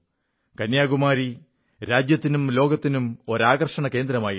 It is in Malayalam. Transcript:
കന്യാകുമാരി രാജ്യത്തിനും ലോകത്തിനും ഒരു ആകർഷണകേന്ദ്രമായിരിക്കുന്നു